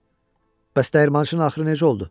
Bəs dəyirmançının axırı necə oldu?